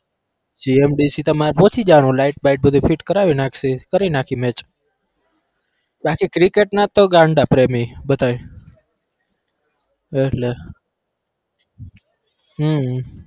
GMDC તમારે પહોંચી જવાનું એટલે લાઈટ બાઈટ બધું fit કરાવી નાખશે. કરી નાખીએ match બાકી ક્રિકેટ ના તો ગાંડા પ્રેમી બધાએ એટલે હમ